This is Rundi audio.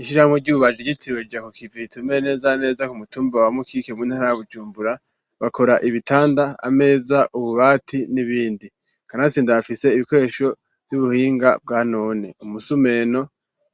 Ishirahamwe ry'ububaji ryitiriwe ja ku kivi ritumbereye neza na neza ku mutumba wa mukike mu ntara bujumbura bakora ibitanda ameza ububati n'ibindi kanatsinda rifise ibikoresho vy'ubuhinga bwa none umusumeno